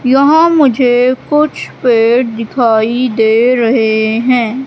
यहां मुझे कुछ पेड़ दिखाई दे रहे हैं।